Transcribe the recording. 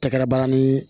Tɛgɛrɛ ni